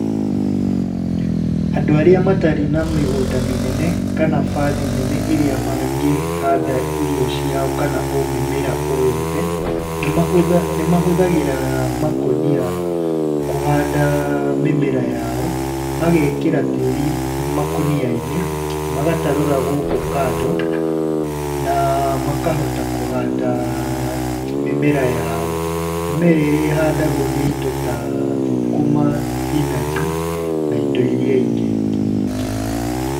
Andũ arĩa matarĩ na mĩgũnda mĩnene kana baathi nene ĩrĩa mangĩhanda irio ciao kana mĩmera o yothe, nĩmahũthagĩra makũnia kũhanda mĩmera yao. Magekĩra tĩĩri makũnia-inĩ, magatarũra gũkũ kando, na makahota kũhanda mĩmera yao. Mĩmera ĩrĩa ĩhandagwo nĩ indo ta thũkũma, thibinanji na indo iria ingĩ nyingĩ.